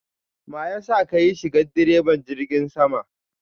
mayasa kayi shigan diraban jirgin sama?